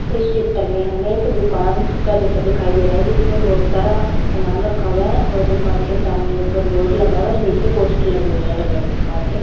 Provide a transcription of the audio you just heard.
इस चित्र में हमें एक दुकान का चित्र दिखाई दे रहा है जिसमें बहुत सारा सामान रखा हुआ है और दुकान के सामने ऊपर बोर्ड लगा हुआ है नीचे पोस्टर लगे हुए हैं अलग अलग प्रकार के--